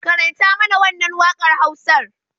Karanta mana wannan wakar Hausar.